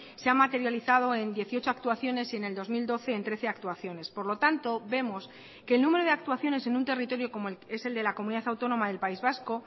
se ha materializado en dieciocho actuaciones y en el dos mil doce en trece actuaciones por lo tanto vemos que el número de actuaciones en un territorio como es el de la comunidad autónoma del país vasco